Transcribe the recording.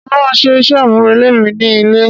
Mo ma ṣe iṣẹ amurele mi ni ilé.